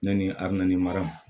Ne ni armani mara